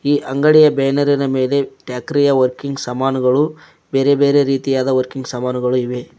ಈ ಅಂಗಡಿಯ ಬ್ಯಾನರಿ ನ ಮೇಲೆ ಟ್ರ್ಯಾಕ್ಟರಿ ಯ ವರ್ಕಿಂಗ್ ಸಾಮಾನುಗಳು ಬೇರೆ ಬೇರೆ ರೀತಿಯ ವರ್ಕಿಂಗ್ ಸಾಮಾನುಗಳು ಇವೆ.